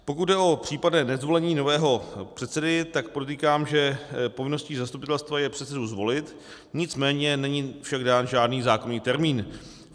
Pokud jde o případné nezvolení nového předsedy, tak podotýkám, že povinností zastupitelstva je předsedu zvolit, nicméně však není dán žádný zákonný termín.